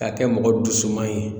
K'a kɛ mɔgɔ dusu man ye